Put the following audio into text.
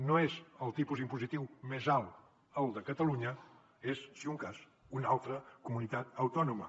no és el tipus impositiu més alt el de catalunya és si de cas una altra comunitat autònoma